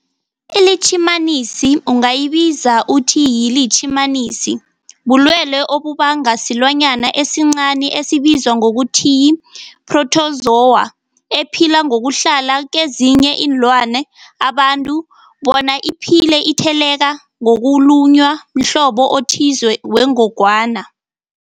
iLitjhimanisi ungayibiza uthiyilitjhimanisi, bulwelwe obubangwa silwanyana esincani esibizwa ngokuthiyi-phrotozowa ephila ngokuhlala kezinye iinlwana, abantu bona iphile itheleleka ngokulunywa mhlobo othize wengogwana.